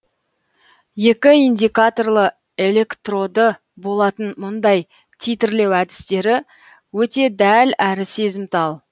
екі индикаторлы электроды болатын мұндай титрлеу әдістері өте дәл әрі сезімтал